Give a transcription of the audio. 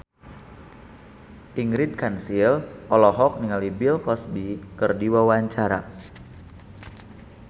Ingrid Kansil olohok ningali Bill Cosby keur diwawancara